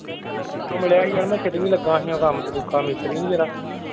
ਉਹ ਮਿਲਿਆ ਸੀ ਯਾਰ ਮੈਂ ਲਗਿਆ ਸੀ ਉਹ ਕੰਮ ਤੇ ਕੁੱਖਾਂ ਮਿਸਤਰੀ ਨਹੀਂ ਜਿਹੜਾ।